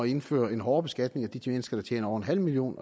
indføre en hårdere beskatning af de de mennesker der tjener over en halv million